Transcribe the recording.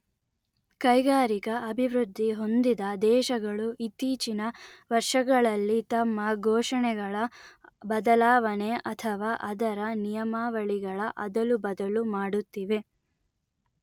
ಕೈಗಾರಿಕಾ ಅಭಿವೃದ್ಧಿ ಹೊಂದಿದ ದೇಶಗಳು ಇತ್ತೀಚಿನ ವರ್ಷಗಳಲ್ಲಿ ತಮ್ಮ ಘೋಷಣೆಗಳ ಬದಲಾವಣೆ ಅಥವಾ ಅದರ ನಿಯಮಾವಳಿಗಳ ಅದಲು ಬದಲು ಮಾಡುತ್ತಿವೆ